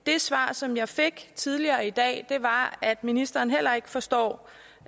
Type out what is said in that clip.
det svar som jeg fik tidligere i dag var at ministeren heller ikke forstår